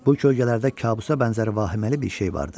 Bu kölgələrdə kabusa bənzər vahiməli bir şey vardı.